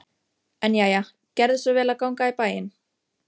En jæja, gerðu svo vel að ganga í bæinn.